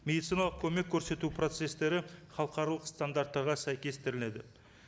медициналық көмек көрсету процестері халықаралық стандарттарға сәйкестіріледі